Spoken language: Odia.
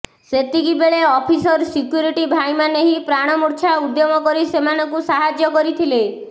ସେତିକି ବେଳେ ଅଫିସର ସିକ୍ୟୁରିଟି ଭାଇମାନେ ହିଁ ପ୍ରାଣମୂର୍ଚ୍ଛା ଉଦ୍ୟମ କରି ସେମାନଙ୍କୁ ସାହାଯ୍ୟ କରିଥିଲେ